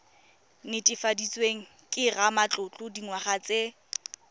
netefaditsweng ke ramatlotlo dingwaga tse